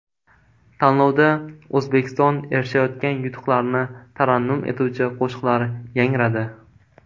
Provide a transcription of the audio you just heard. Tanlovda O‘zbekiston erishayotgan yutuqlarni tarannum etuvchi qo‘shiqlar yangradi.